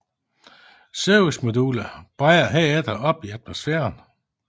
Servicemodulet brænder herefter op i atmosfæren